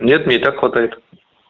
нет мне и так хватает